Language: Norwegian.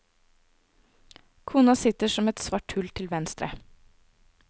Kona sitter som en svart hull til venstre.